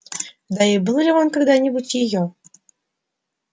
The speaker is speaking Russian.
да и был ли он когда-нибудь её